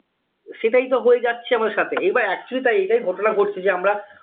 সেটাই তো হয়ে যাচ্ছে আমাদের সাথে এবার actually তাই এটাই ঘটনা ঘটছে যে আমরা